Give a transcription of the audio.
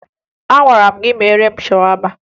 Agwara m gị meere m shawama!